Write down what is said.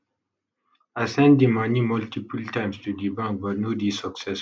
i send di money multiple times to di bank but no dey successful